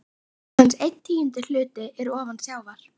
Aðeins einn tíundi hluti er ofan sjávar.